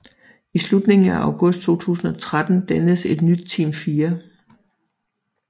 I slutningen af august 2013 dannedes et nyt Team 4